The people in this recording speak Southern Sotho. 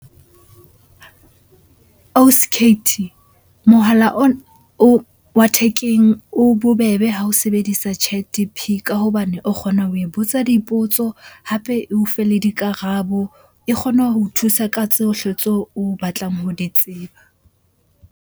Ausi mohala o wa thekeng o bobebe ha o sebedisa Chat ka hobane o kgona ho e botsa dipotso hape eo fe le dikarabo. E kgona ho o thusa ka tsohle tseo o batlang ho di tseba.